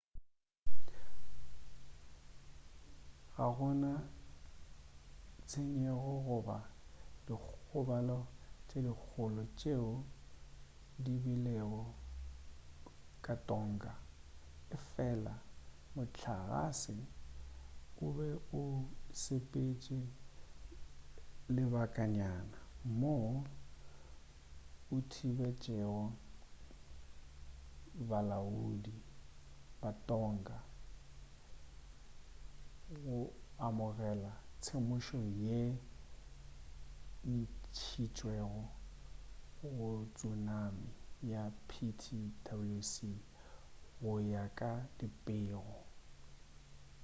ga go na tshenyego goba dikgobalo tše dikgolo tšeo di begilwego ka tonga efela mohlagase o be o sepetše lebakanyana moo o thibetšego balaodi ba tonga go amogela temošo yeo e ntšhitšwego ya tsunami ka ptwc go ya ka dipego